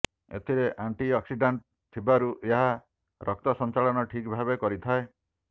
ଏଥିରେ ଆଣ୍ଟିଅକ୍ସିଡ଼ାଣ୍ଟଥିବାରୁ ଏହା ରକ୍ତ ସଞ୍ଚାଳନ ଠିକ୍ ଭାବେ କରିଥାଏ